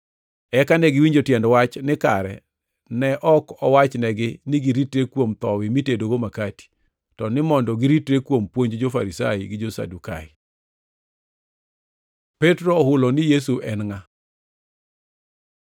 Eka negiwinjo tiend wach ni kare ne ok owachnegi ni giritre kuom thowi mitedogo makati, to ni mondo giritre kuom puonj jo-Farisai gi jo-Sadukai. Petro ohulo ni Yesu en ngʼa